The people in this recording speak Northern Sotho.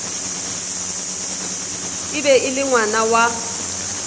be e le ngwana wa